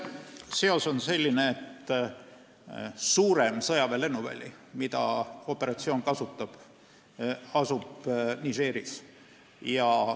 Seos on selline, et üks suur sõjaväelennuväli, mida operatsiooni käigus kasutatakse, asub Nigeris.